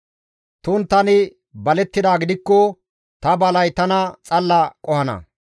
Tumukka tani balettidaa gidikko ta balay tana xalla qohana.